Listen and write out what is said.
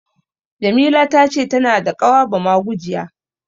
Jamila ta ce tana da ƙawa bamagujiya.